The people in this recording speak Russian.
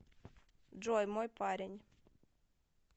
джой мой парень